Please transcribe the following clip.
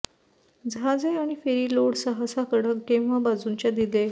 जहाजे आणि ferry load सहसा कडक किंवा बाजूंच्या दिले